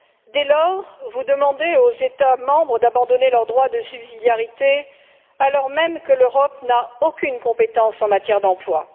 Dès lors, vous demandez aux États membres d'abandonner leur droit de subsidiarité, alors même que l'Europe n'a aucune compétence en matière d'emploi.